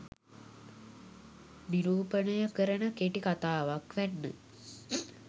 නිරූපණය කරන කෙටි කතාවක් වැන්න.